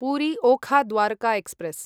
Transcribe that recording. Puri Okha Dwarka express